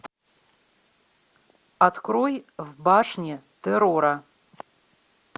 открой в башне террора